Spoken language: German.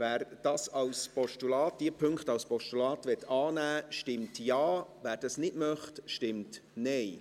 Wer diese Punkte als Postulat annehmen will, stimmt Ja, wer dies nicht möchte, stimmt Nein.